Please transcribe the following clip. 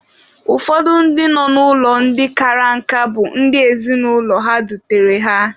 Ụfọdụ ndị nọ n'ụlọ ndị kara nka bụ ndị ezinụlọ ha dutere ha.